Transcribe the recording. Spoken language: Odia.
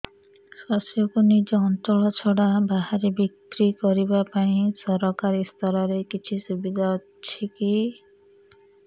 ଶସ୍ୟକୁ ନିଜ ଅଞ୍ଚଳ ଛଡା ବାହାରେ ବିକ୍ରି କରିବା ପାଇଁ ସରକାରୀ ସ୍ତରରେ କିଛି ସୁବିଧା ଅଛି କି